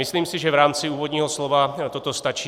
Myslím si, že v rámci úvodního slova toto stačí.